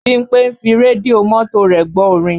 Bímpé ń fi rédíò mọ́tò rẹ̀ gbọ́ orin